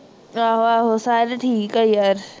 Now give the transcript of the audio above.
ਆਹੋ ਆਹੋ ਸਾਰੇ ਠੀਕ ਆ ਯਾਰ